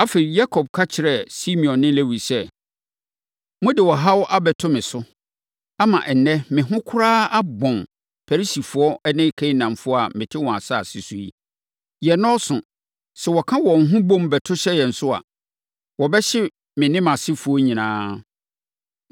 Afei, Yakob ka kyerɛɛ Simeon ne Lewi sɛ, “Mode ɔhaw abɛto me so, ama ɛnnɛ me ho koraa abɔn Perisifoɔ ne Kanaanfoɔ a mete wɔn asase so yi. Yɛn nnɔɔso. Sɛ wɔka wɔn ho bom, bɛto hyɛ yɛn so a, wɔbɛhye me ne mʼasefoɔ nyinaa.”